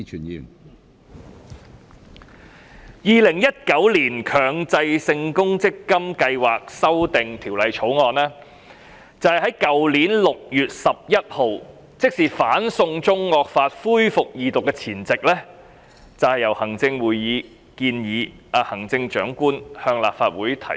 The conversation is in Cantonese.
《2019年強制性公積金計劃條例草案》是在去年6月11日，即是"送中惡法"恢復二讀的前夕，由行政會議建議行政長官向立法會提出。